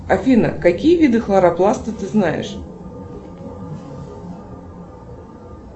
афина какие виды хлоропласта ты знаешь